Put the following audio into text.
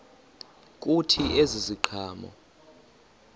kuthi ezi ziqhamo